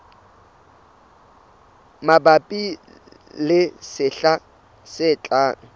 mabapi le sehla se tlang